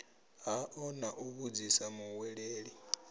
hao na u vhudzisa muhweleli